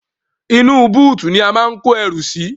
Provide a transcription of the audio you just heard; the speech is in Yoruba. Inú búùtù ni a máa ń kó ẹrù sí.